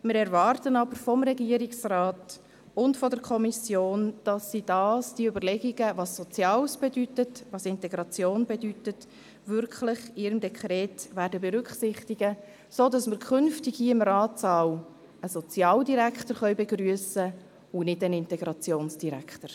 Wir erwarten aber vom Regierungsrat und von der Kommission, dass sie die Überlegungen, was «Soziales» bedeutet und was «Integration» bedeutet, in ihrem Dekret wirklich berücksichtigen werden, sodass wir hier im Ratssaal künftig einen Sozialdirektor begrüssen können, und nicht einen Integrationsdirektor.